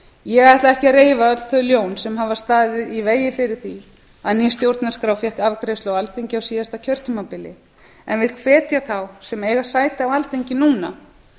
ég ætla ekki að reifa öll þau ljón sem hafa staðið í vegi fyrir því að ný stjórnarskrá fékk afgreiðslu á alþingi á síðasta kjörtímabili en vik hvetja þá sem eiga sæti á alþingi núna